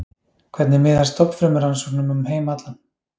Hvernig miðar stofnfrumurannsóknum um heim allan?